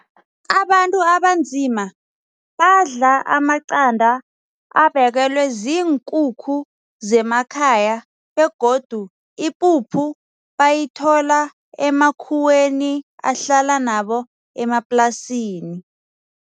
Abantu abanzima badla amacanda abekelwe ziinkukhu zemakhaya begodu ipuphu bayithola emakhuweni ahlala nabo emaplasini.